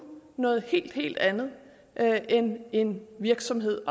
noget helt helt andet end en virksomhed